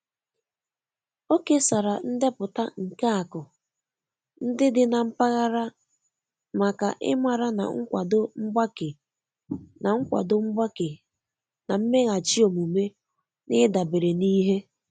O kesara ndepụta nke akụ ndị dị na mpaghara maka ịmara na nkwado mgbake na nkwado mgbake na mmeghachi omume n'idabere n'ihe